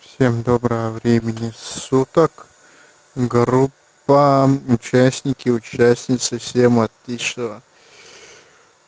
всем доброго времени суток группам участники участницы всем отличного